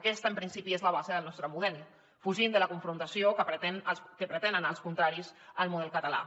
aquesta en principi és la base del nostre model fugint de la confrontació que pretenen els contraris al model català